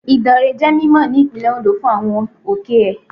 Ìdànrè jẹ́ mímọ̀ ní Ìpínlẹ̀ Ondo fún àwọn òkè ẹ̀.